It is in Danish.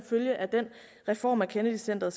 følge af denne reform at kennedy centret